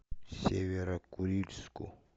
северо курильску